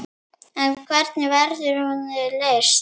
En hvernig verður hún leyst?